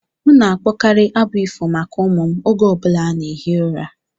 M na-akpọkarị abụ ifo maka ụmụ m oge ọ bụla na-ehi ụra.